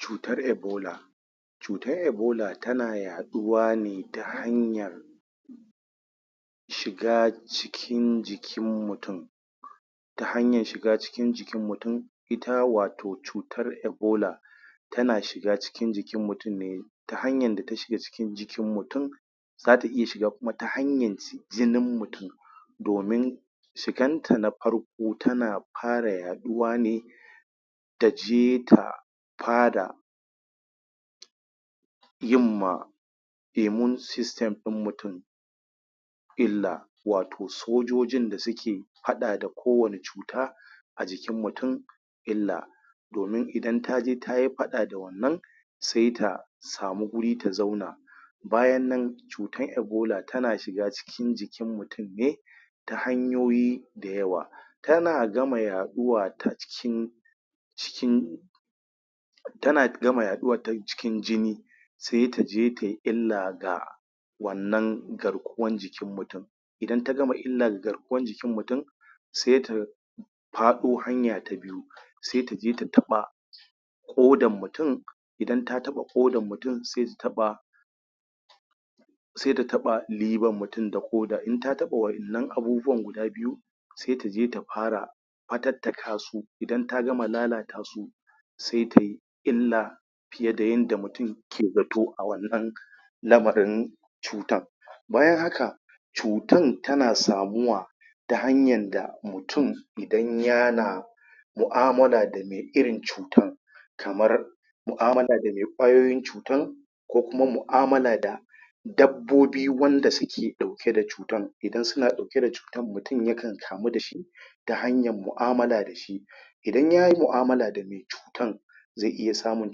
Cutar ebola cutan ebola tana yaɗuwa ne ta hanyan shiga cikin jikin mutun ta hanyan shiga cikin jikin mutun ita wato cutar ebola tana shiga cikin jikin mutum ne ta hanyan da ta shiga cikin jikin mutum zata iya shiga kuma ta hanyan jinin mutun domin shiganta na far ko, tana fara yaɗuwa ne taje ta fa da yin ma immune system ɗin mutum illa wato sojojin da suke faɗa da ko wani cuta a jikin mutun illa domin idan taje tayi faɗa da wannan sai ta samu guri ta zauna bayan nan cutan ebola tana shiga cikin jikin mutum ne ta hanyoyi da yawa tana gama yaɗuwa ta cikin cikin tana gama yaɗuwa ta cikin jini sai taje tai illa ga wannan garkuwan jikin mutum idan ta gama illa ga garkuwan jikin mutum sai ta faɗo hanya ta sai taje ta taɓa ƙodan mutun idan ta taɓa ƙodan mutun sai ta taɓa sai ta taɓa liver mutun da ƙoda, in ta taɓa wa'innan abubuwan guda biyu sai taje ta fara fatattaka su, idan ta gama lalata su sai tai illa fiye da yanda mutun ke zato a wannan lamarin cutan bayan haka cutan tana samuwa ta hanyar da mutun idan yana mu'amala da mai irin cutan kamar mu'amala da mai ƙwayoyin cutan ko kuma mu'amala da dabbobi wanda suke ɗauke da cu tan, idan suna ɗauke da cutan mutun yakan kamu dashi ta hanyar mu'amala dashi idan yayi mu'amala da mai cutan zai iya samun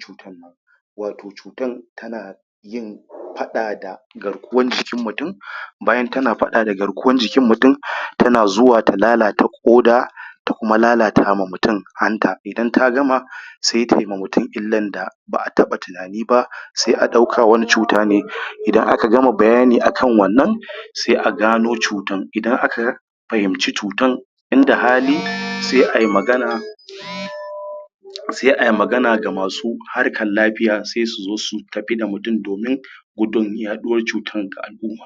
cutan wato cutan tana yin faɗa da garkuwan jikin mutun bayan tana faɗa da garkuwan jikin mutun tana zuwa ta lalata ƙoda ta kuma lalata ma mutun hanta, idan ta gama sai tai ma mutun illan da ba'a taɓa tunani ba sai a ɗauka wani cuta ne, idan aka gama bayani akan wannan sai a gano cutan, idan aka fahimci cutan inda hali sai ai magana sai ai magana da masu harkan lafiya sai su zo su tafi da mutun domin gudun yaɗuwan cutan ga al'umma.